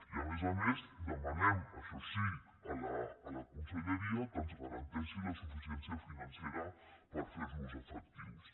i a més a més demanem això sí a la conselleria que ens garanteixi la suficiència financera per ferlos efectius